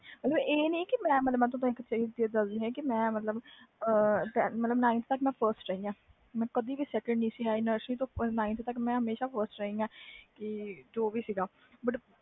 ਮਤਬਲ ਇਹ ਨਹੀਂ ਕਿ ਮੈਂ ਮਤਬਲ nineth ਤਕ ਮੈਂ frist ਰਹੀ ਆ ਮੈਂ ਕਦੇ ਵੀ second ਨਹੀਂ ਆ ਸੀ nineth ਤਕ ਮੈਂ ਹਮੇਸ਼ਾ frist ਰਹੀ ਜੋ ਵੀ ਸੀ ਗਏ